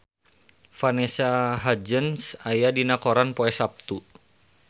Vanessa Hudgens aya dina koran poe Saptu